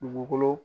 Dugukolo